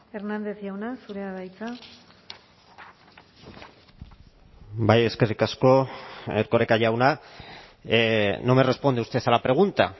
hernández jauna zurea da hitza bai eskerrik asko erkoreka jauna no me responde usted a la pregunta